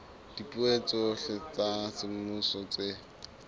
dipuo tsohle tsa semmuso tse